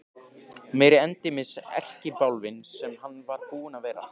Meiri endemis erkibjálfinn sem hann var búinn að vera!